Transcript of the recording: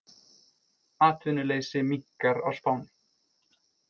Atvinnuleysi minnkar á Spáni